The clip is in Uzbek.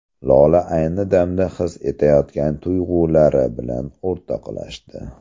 Lola ayni damda his etayotgan tuyg‘ulari bilan o‘rtoqlashdi.